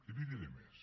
i li diré més